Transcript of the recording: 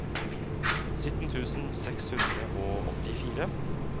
sytten tusen seks hundre og åttifire